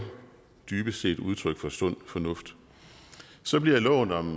dybest set udtryk for sund fornuft så bliver loven om